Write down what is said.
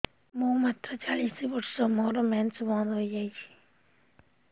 ମୁଁ ମାତ୍ର ଚାଳିଶ ବର୍ଷ ମୋର ମେନ୍ସ ବନ୍ଦ ହେଇଯାଇଛି